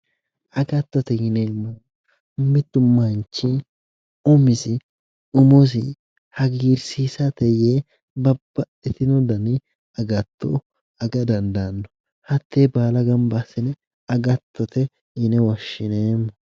Agatto:-Agattotte yineemmoti mittu manchi umisi umosi hagiirisiissate yee babbaxitino dani agatto aga dandaanno hattee baala ganba assine agatotte yine woshshineemmo